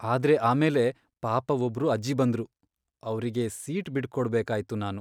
ಆದ್ರೆ ಆಮೇಲೆ ಪಾಪ ಒಬ್ರು ಅಜ್ಜಿ ಬಂದ್ರು, ಅವ್ರಿಗೆ ಸೀಟ್ ಬಿಟ್ಟ್ಕೊಡ್ಬೇಕಾಯ್ತು ನಾನು.